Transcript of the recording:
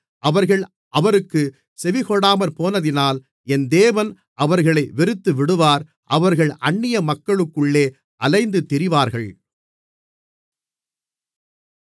அவர்கள் அவருக்குச் செவிகொடாமற்போனதினால் என் தேவன் அவர்களை வெறுத்துவிடுவார் அவர்கள் அந்நிய மக்களுக்குள்ளே அலைந்து திரிவார்கள்